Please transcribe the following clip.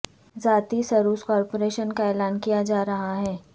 ذاتی service corporation کا اعلان کیا جا رہا ہے